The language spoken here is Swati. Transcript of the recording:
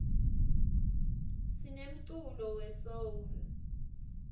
sinemculo we soul